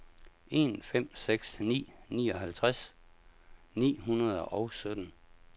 en fem seks ni nioghalvtreds ni hundrede og sytten